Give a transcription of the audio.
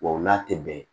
Wa u n'a tɛ bɛn